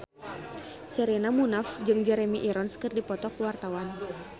Sherina Munaf jeung Jeremy Irons keur dipoto ku wartawan